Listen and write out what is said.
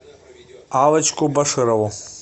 аллочку баширову